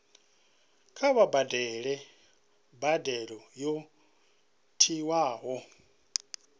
kha vha badele mbadelo yo tiwaho